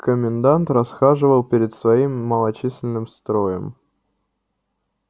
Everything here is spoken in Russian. комендант расхаживал перед своим малочисленным строем